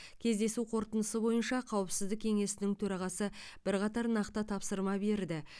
кездесу қорытындысы бойынша қауіпсіздік кеңесінің төрағасы бірқатар нақты тапсырма берді